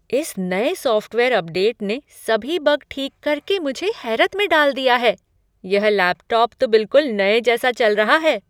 इस नए software update ने सभी बग ठीक करके मुझे हैरत में डाल दिया है। यह लैपटॉप तो बिल्कुल नए जैसा चल रहा है!